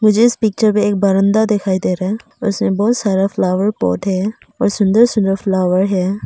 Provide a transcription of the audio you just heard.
जिस पिक्चर में एक बरंदा दिखाई दे रहा है उसमे बहोत सारा फ्लावर पॉट है और सुंदर सुंदर फ्लावर है।